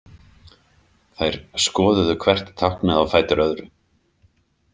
Þær skoðuðu hvert táknið á fætur öðru.